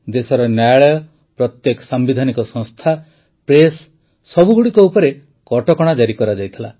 ଦେଶର ନ୍ୟାୟାଳୟ ପ୍ରତ୍ୟେକ ସାମ୍ବିଧାନିକ ସଂସ୍ଥା ପ୍ରେସ୍ ସବୁଗୁଡ଼ିକ ଉପରେ କଟକଣା ଜାରି କରାଯାଇଥିଲା